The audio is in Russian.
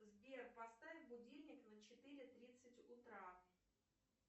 сбер поставь будильник на четыре тридцать утра